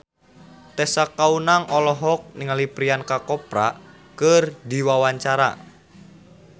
Tessa Kaunang olohok ningali Priyanka Chopra keur diwawancara